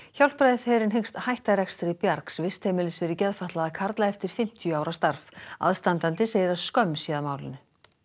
Hjálpræðisherinn hyggst hætta rekstri bjargs vistheimilis fyrir geðfatlaða karla eftir fimmtíu ára starf aðstandandi segir að skömm sé að málinu